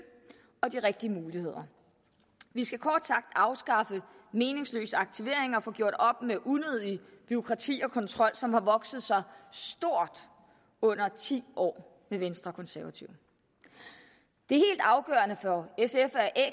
og de rigtige muligheder vi skal kort sagt afskaffe meningsløs aktivering og få gjort op med unødigt bureaukrati og kontrol som har vokset sig stort under ti år med venstre og konservative det